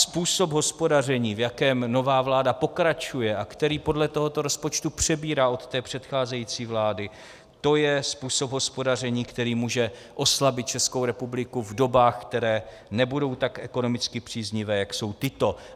Způsob hospodaření, v jakém nová vláda pokračuje a který podle tohoto rozpočtu přebírá od té předcházející vlády, to je způsob hospodaření, který může oslabit Českou republiku v dobách, které nebudou tak ekonomicky příznivé, jak jsou tyto.